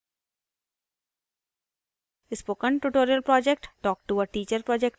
spoken tutorial project talktoa teacher project का हिस्सा है